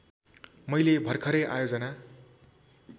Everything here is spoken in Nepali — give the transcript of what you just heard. मैले भरखरै आयोजना